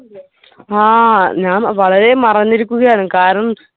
ആ ഞാൻ വളരെ മറഞ്ഞിരിക്കുകയാണ് കാരണം